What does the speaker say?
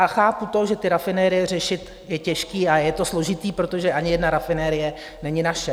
A chápu to, že ty rafinerie řešit je těžké a je to složité, protože ani jedna rafinerie není naše.